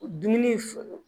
Dumuni foro